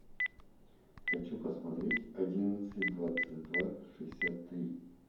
хочу посмотреть одиннадцать двадцать два шестьдесят три